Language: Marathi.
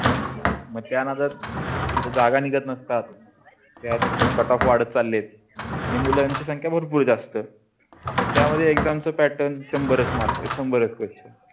मग त्यांना जर इत जागा निघत नसतात त्यात कटाप वाढत चालले. आणि मुल आणि मुलांच्या संख्या भरपूर जास्त त्यामध्ये exam pattern शंभर मार्क शंभर question